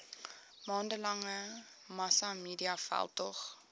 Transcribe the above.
maande lange massamediaveldtog